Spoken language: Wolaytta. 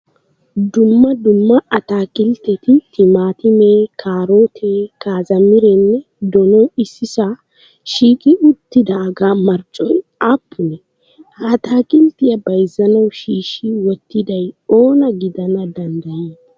Dumma dumma ataakiltteti timaatime, karootee, kaaroote kaazmirenne donoy issisaa shiiqi uttidaagaa marccoy aappunee? Ha ataakilttiya bayizzanawu shiishshi wottiday oona gidana danddayii?